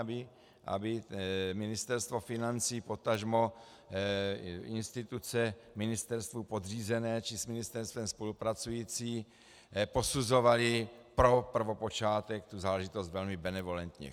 Aby Ministerstvo financí, potažmo instituce ministerstvu podřízené či s ministerstvem spolupracující posuzovaly pro prvopočátek tu záležitost velmi benevolentně.